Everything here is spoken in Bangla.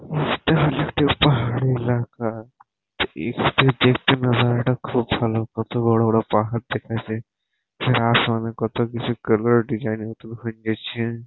এটা হলো একটি পাহাড়ি এলাকা। এখানে দেখতে নাজারটা খুব ভালো। কত বড় বড় পাহাড় দেখা যায়। আসমানে কতকিছু কালার ডিসাইন হয়ে গেছে ।